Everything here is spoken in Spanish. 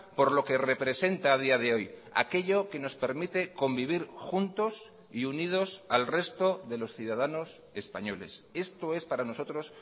por lo que representa a día de hoy aquello que nos permite convivir juntos y unidos al resto de los ciudadanos españoles esto es para nosotros